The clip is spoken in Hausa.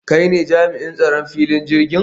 Kai ne jami'in tsaron filin jirgin?